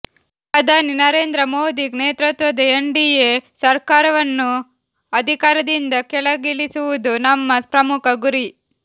ಪ್ರಧಾನಿ ನರೇಂದ್ರ ಮೊದಿ ನೇತೃತ್ವದ N D A ಸರ್ಕಾರವನ್ನು ಅಧಿಕಾರದಿಂದ ಕೆಳಗಿಳಿಸುವುದು ನಮ್ಮ ಪ್ರಮುಖ ಗುರಿ